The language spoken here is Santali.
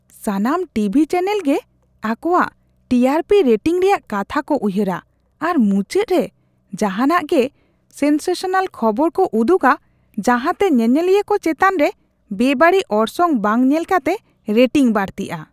ᱥᱟᱱᱟᱢ ᱴᱤᱵᱷᱤ ᱪᱮᱱᱮᱞ ᱜᱮ ᱟᱠᱚᱣᱟᱜ ᱴᱤ ᱟᱨ ᱯᱤ ᱨᱮᱴᱤᱝ ᱨᱮᱭᱟᱜ ᱠᱟᱛᱷᱟ ᱠᱚ ᱩᱭᱦᱟᱹᱨᱟ ᱟᱨ ᱢᱩᱪᱟᱹᱫ ᱨᱮ ᱡᱟᱦᱟᱱᱟᱜ ᱜᱮ ᱥᱮᱱᱥᱮᱥᱚᱱᱟᱞ ᱠᱷᱚᱵᱚᱨ ᱠᱚ ᱩᱫᱩᱜᱟ ᱡᱟᱦᱟᱸᱛᱮ ᱧᱮᱧᱮᱞᱤᱭᱟᱹ ᱠᱚ ᱪᱮᱛᱟᱱ ᱨᱮ ᱵᱮᱼᱵᱟᱹᱲᱤᱡ ᱚᱨᱥᱚᱝ ᱵᱟᱝ ᱧᱮᱞ ᱠᱟᱛᱮ ᱨᱮᱴᱤᱝ ᱵᱟᱹᱲᱛᱤᱼᱟ ᱾ (ᱦᱚᱲ 1)